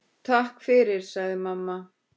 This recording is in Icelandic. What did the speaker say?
Takk fyrir, sagði mamma.